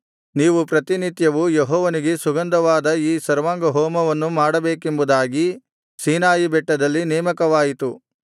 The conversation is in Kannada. ನೀವು ಪ್ರತಿನಿತ್ಯವೂ ಯೆಹೋವನಿಗೆ ಸುಗಂಧಕರವಾದ ಈ ಸರ್ವಾಂಗಹೋಮವನ್ನು ಮಾಡಬೇಕೆಂಬುದಾಗಿ ಸೀನಾಯಿ ಬೆಟ್ಟದಲ್ಲಿ ನೇಮಕವಾಯಿತು